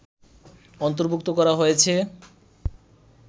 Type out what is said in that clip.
অন্তর্ভুক্ত করা হয়েছে